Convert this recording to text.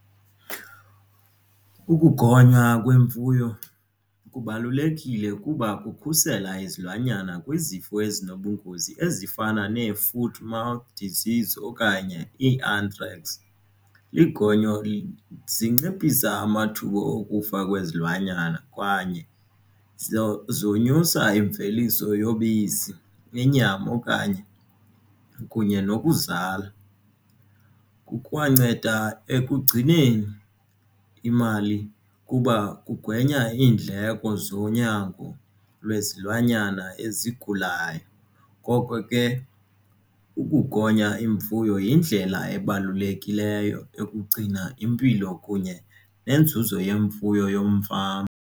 Ukugonywa kwemfuyo kubalulekile kuba kukhusela izilwanyana kwizifo ezinobungozi ezifana nee-foot mouth disease okanye i-anthrax. Izigonyo zinciphisa amathuba okufa kwezilwanyana kwanye zonyusa imveliso yobisi inyama okanye kunye nokuzala. Kukwanceda ekugcineni imali kuba kugwenya iindleko zonyango lwezilwanyana ezikhulayo. Ngoko ke ukugonya imfuyo yindlela ebalulekileyo yokugcina impilo kunye neenzuzo yemfuyo yomfama.